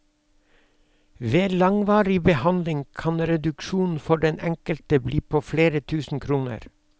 Ved langvarig behandling kan reduksjonen for den enkelte bli på flere tusen kroner.